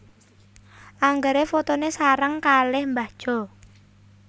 Anggere fotone sareng kalih mbah Jo